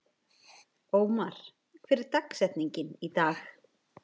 Ómar, hver er dagsetningin í dag?